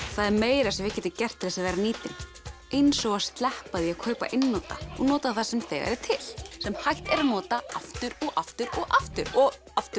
það er meira sem við getum gert til þess að vera nýtin eins og að sleppa því að kaupa einnota og nota það sem þegar er til sem hægt er að nota aftur og aftur og aftur og aftur